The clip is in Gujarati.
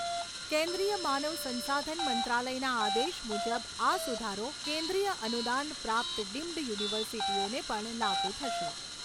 કેન્દ્રિય માનવ સંસાધન મંત્રાલયના આદેશ મુજબ આ સુધારો કેન્દ્રિય અનુદાન પ્રાપ્ત ડિમ્ડ યુનિવર્સિટીઓને પણ લાગુ થશે.